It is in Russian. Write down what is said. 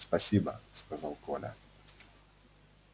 спасибо сказал коля